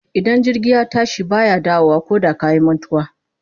Idan jirgi ya tashi ba ya dawowa koda ka yi mantuwa.